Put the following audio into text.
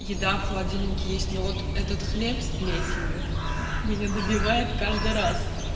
еда в холодильнике есть но вот этот хлеб с плесенью меня добивает каждый раз